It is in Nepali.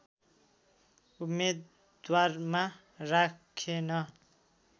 उम्मेदवारमा राखेन